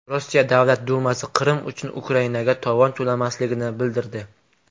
Rossiya Davlat dumasi Qrim uchun Ukrainaga tovon to‘lanmasligini bildirdi.